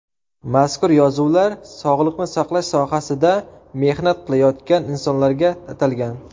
Mazkur yozuvlar sog‘liqni saqlash sohasida mehnat qilayotgan insonlarga atalgan.